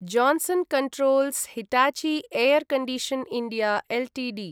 Johnson controls Hitachi air condition. India Ltd